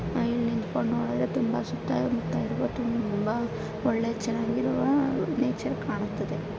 ಇಲ್ಲಿ ನಿಂತ್ಕೊಂಡು ನೋಡಿದ್ರೆ ತುಂಬಾ ಸುತ್ತಾ ಮುತ್ತಾ ಒಳ್ಳೆ ಚೆನ್ನಾಗಿರುವ ನೇಚರ್ ಕಾಣುತ್ತದೆ.